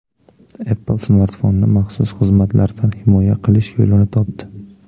Apple smartfonni maxsus xizmatlardan himoya qilish yo‘lini topdi.